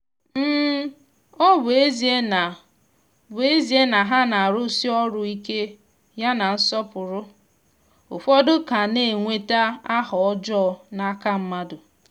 ọ bụ ezie na bụ ezie na ha na-arụsi ọrụ ike ya na nsọpụrụ ụfọdụ ka na-enweta aha ọjọọ n’aka mmadụ.